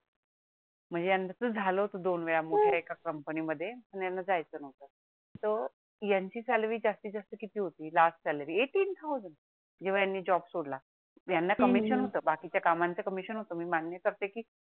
म्हणजे यांच तस झाल होत दोन वेळा मोठ्या एका कंपनीमध्ये पण यांना जायचं नव्हतं तर यांची सॅलरी जास्तीत जास्त किती होती लास्ट सॅलरी एटीन थाऊजंड जेव्हा यांनी जॉब सोडला यांना कमिशन होत बाकीच्या कामांच कमिशन होतं मी मान्य करते की